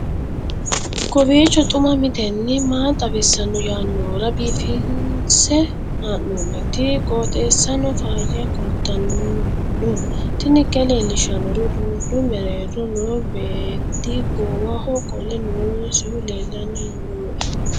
kowiicho xuma mtini maa xawissanno yaannohura biifinse haa'noonniti qooxeessano faayya kultanno tini kayi leellishshannori uduunnu mereero noo beetti goowaho qolo noosihu leellanni nooe